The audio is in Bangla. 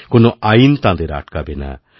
কোনও আইন তাঁদের আটকাবে না